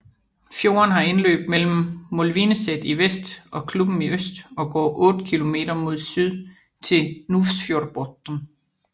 Fjorden har indløb mellem Molvineset i vest og Klubben i øst og går otte kilometer mod syd til Nuvsfjordbotn